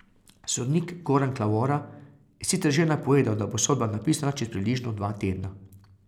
Sodnik Goran Klavora je sicer že napovedal, da bo sodba napisana čez približno dva tedna.